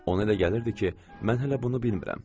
Ona elə gəlirdi ki, mən hələ bunu bilmirəm.